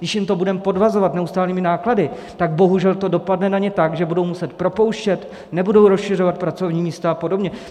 Když jim to budeme podvazovat neustálými náklady, tak bohužel to dopadne na ně tak, že budou muset propouštět, nebudou rozšiřovat pracovní místa a podobně.